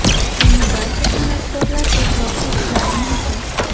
Buni barcha san’atkorlar e’tirof qilishlari mumkin.